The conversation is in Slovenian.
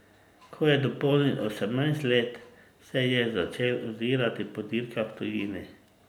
Ko je dopolnil osemnajst let, se je začel ozirati po dirkah v tujini.